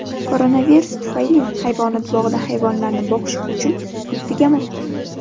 Koronavirus tufayli hayvonot bog‘ida hayvonlarni boqish uchun pul tugamoqda.